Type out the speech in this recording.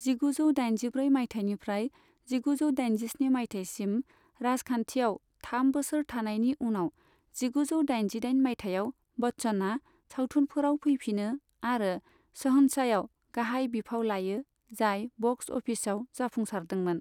जिगुजौ दाइनजिब्रै माइथायनिफ्राय जिगुजौ दाइजिस्नि माइथायसिम राजखान्थियाव थाम बोसोर थानायनि उनाव जिगुजौ दाइनजिदाइन माइथायाव बच्चनआ सावथुनफोराव फैफिनो आरो शहंशाहयाव गाहाय बिफाव लायो जाय बक्स अफिसयाव जाफुंसारदोंमोन।